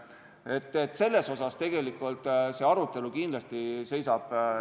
Sellel teemal seisab tegelikult arutelu ees.